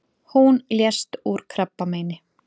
Hún lést úr krabbameini.